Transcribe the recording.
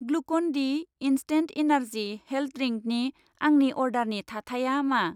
Glucan D instant energy health ड्रिंकनि आंनि अर्डारनि थाथाया मा?